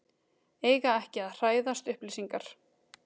Eiga ekki að hræðast upplýsingar